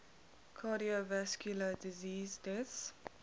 cardiovascular disease deaths